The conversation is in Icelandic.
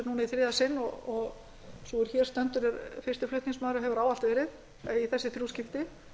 í þriðja sinn og sú er hér stendur er fyrsti flutningsmaður og hefur ávallt verið í þessi þrjú skipti